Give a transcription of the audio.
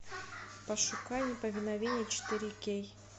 пошукай неповиновение четыре кей